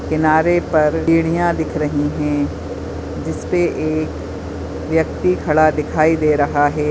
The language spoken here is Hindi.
किनारे पर सीढ़िया दिख रही है जिस पे एक व्यक्ति खड़ा दिखाई दे रहा है।